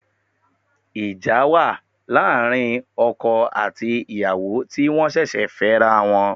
Ìjà wà láàrin àwọn okò àti ìyàwó ti wọ́n ṣẹ̀ṣẹ̀ fẹ́ra wọn